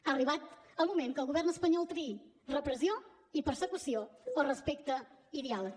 ha arribat el moment que el govern espanyol triï repressió i persecució o respecte i diàleg